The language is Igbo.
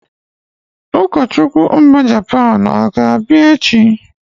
Ụkọchukwu Japan ọ ga-abịa echi?